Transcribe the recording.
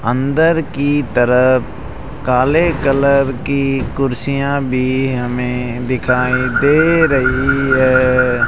अंदर की तरफ काले कलर की कुर्सियां भी हमें दिखाई दे रही है।